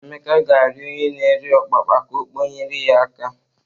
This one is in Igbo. Emeka ga-arịọ onye na-ere ọpapa ka ọ kpọnyere ya aka.